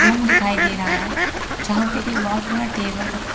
Room दिखाई दे रहा है। जहां पे एक बहोत बड़ा टेबल रखा--